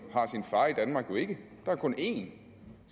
har sin far i danmark jo ikke der er kun én det